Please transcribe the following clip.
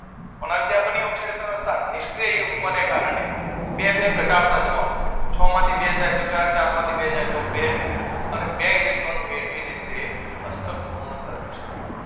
કોના લીધે આ બની ઑક્સીજન અવસ્થા બની. નિષ્ક્રીય યુગ્મ ના કારણે બે બે ઘટાડતા જવાનું. છ માંથી બે જાય તો ચાર, ચાર માંથી બે જાય તો બે. અને બે ઇલેક્ટ્રોન મેળવીને તે અષ્ટક પૂર્ણ કરી શકે.